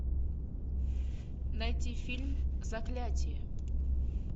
найти фильм заклятие